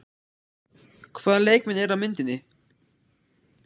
Hvaða leikmenn eru á myndinni?